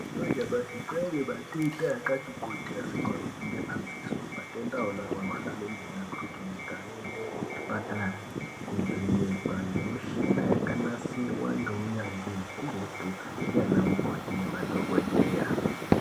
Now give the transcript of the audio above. Mazuva anyamashi kwaane matenda akati kuti asikaoneki nemadziso matenda iwonawo anenge achida kuti muntu aende kuchipatara kunovhenekwa nemichina yakanasirwa ngeunyanzvi ukurutu ndiyana mukoti nemadhokodheya .